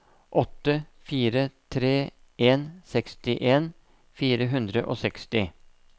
åtte fire tre en sekstien fire hundre og seksti